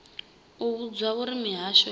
u vhudzwa uri mihasho ya